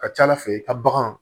Ka ca ala fɛ i ka bagan